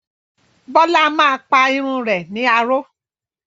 Bólá máa pa irun rẹ̀ ní aró.